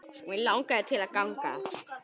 Mig langaði til að ganga